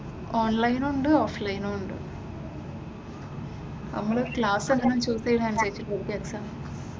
ഓൺലൈനും ഉണ്ട് ഓഫ്‌ലൈനും ഉണ്ട്, നമ്മള് ക്ലാസ് എങ്ങനെ ചൂസ് ചെയ്യുന്ന അനുസരിച്ചിട്ടായിരിക്കും എക്സാം.